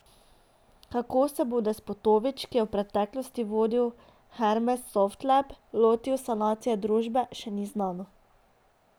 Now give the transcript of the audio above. Kako se bo Despotovič, ki je v preteklosti vodil Hermes Softlab, lotil sanacije družbe, še ni znano.